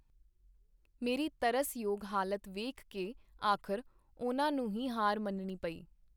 ਮੇਰੀ ਤਰਸ-ਯੋਗ ਹਾਲਤ ਵੇਖ ਕੇ ਆਖਰ ਉਹਨਾਂ ਨੂੰ ਹੀ ਹਾਰ ਮੰਨਣੀ ਪਈ.